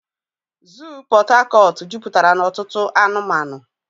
Zoo Pot Tarcort juputara na otutu anumanu.